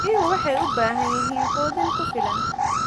Riyuhu waxay u baahan yihiin quudin ku filan.